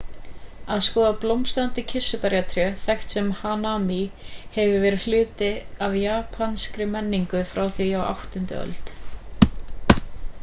að skoða blómstrandi kirsuberjatré þekkt sem hanami hefur verið hluti af japanskri menningu frá því á 8. öld